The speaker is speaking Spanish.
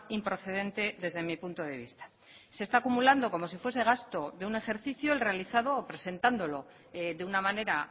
improcedente desde mi punto de vista se está acumulando como si fuese gasto de un ejercicio el realizado o presentándolo de una manera